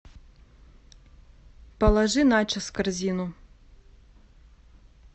положи начос в корзину